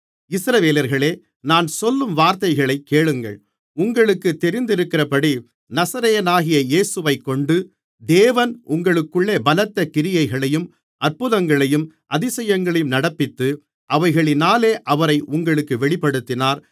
இஸ்ரவேலர்களே நான் சொல்லும் வார்த்தைகளைக் கேளுங்கள் உங்களுக்கு தெரிந்திருக்கிறபடி நசரேயனாகிய இயேசுவைக்கொண்டு தேவன் உங்களுக்குள்ளே பலத்த கிரியைகளையும் அற்புதங்களையும் அதிசயங்களையும் நடப்பித்து அவைகளினாலே அவரை உங்களுக்கு வெளிப்படுத்தினார்